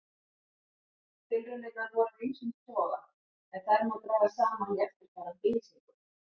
Tilraunirnar voru af ýmsum toga en þær má draga saman í eftirfarandi lýsingu.